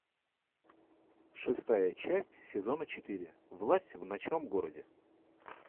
шестая часть сезона четыре власть в ночном городе